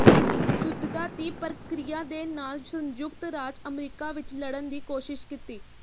ਸ਼ੁਧਤਾ ਦੀ ਪ੍ਰਕਿਰਿਆ ਦੇ ਨਾਲ ਸੰਯੁਕਤ ਰਾਜ ਅਮਰੀਕਾ ਵਿੱਚ ਲੜਨ ਦੀ ਕੋਸ਼ਿਸ਼ ਕੀਤੀ